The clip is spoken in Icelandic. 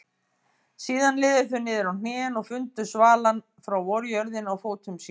Síðan liðu þau niður á hnén og fundu svalann frá vorjörðinni á fótum sínum.